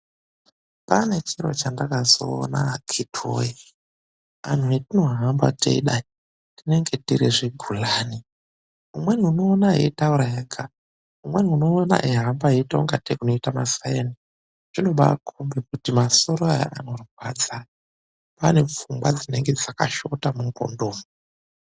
Pane chiro chandakazoona akhiti woye, anhu hetinohamba teidai, tinenge tiri zvigulani. Umweni unomuona eitaura ega, umweni unomuona eihamba ega eita ingatei unoita masaini, zvinobaikombe kuti masoro aya anorwadza ane pfungwa dzinenge dzakashota mundxondo umu.